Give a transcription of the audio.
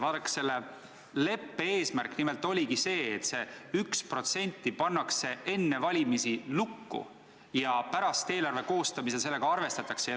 Vaadake, selle leppe eesmärk nimelt oligi see, et see 1% pannakse enne valimisi lukku ja pärast, eelarve koostamisel sellega arvestatakse.